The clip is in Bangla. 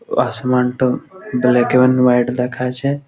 আসমান টা দুদিকে লাইট দেখা যাচ্ছে ।